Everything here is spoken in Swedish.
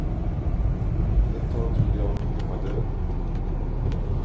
Ett tag trodde jag han var död.